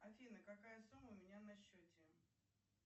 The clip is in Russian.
афина какая сумма у меня на счете